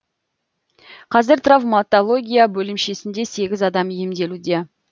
қазір травмотология бөлімшесінде сегіз адам емделуде